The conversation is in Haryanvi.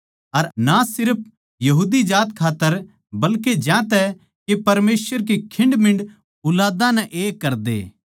अर ना सिर्फ यहूदी जात खात्तर बल्के ज्यांतै के परमेसवर की खिंडमींड ऊलादां नै एक करदे